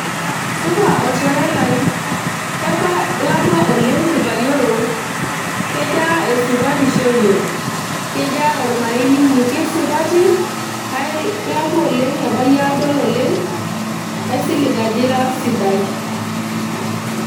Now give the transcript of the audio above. supa olchore lai kebaa, ilakua oleng kibayioro kejaa esupatisho ino kejaa ormarei linyi keisupati ilakua oleng ebayie aadol olengaisilig ajo ira sidai.